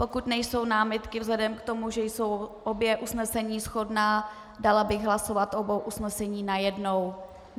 Pokud nejsou námitky, vzhledem k tomu, že jsou obě usnesení shodná, dala bych hlasovat o obou usnesení najednou.